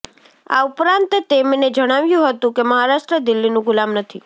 આ ઉપરાંત તેમને જણાવ્યું હતું કે મહારાષ્ટ્ર દિલ્હીનું ગુલામ નથી